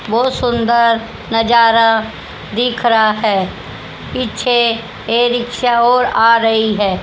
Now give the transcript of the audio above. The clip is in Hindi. बहोत सुन्दर नजारा दिख रहा है पीछे एक रिक्शा और आ रही हैं।